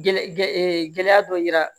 Gɛlɛya gɛɛ gɛlɛya dɔ yira